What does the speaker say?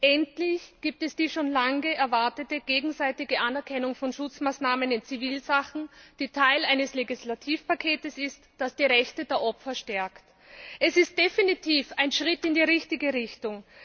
Endlich gibt es die schon lange erwartete gegenseitige Anerkennung von Schutzmaßnahmen in Zivilsachen, die Teil eines Legislativpakets ist, das die Rechte der Opfer stärkt. Es ist definitiv ein Schritt in die richtige Richtung.